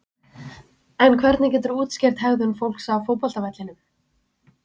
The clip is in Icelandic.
En hvernig geturðu útskýrt hegðun fólks á fótboltavellinum?